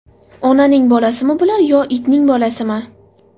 Onaning bolasimi bular yo itning bolasimi?!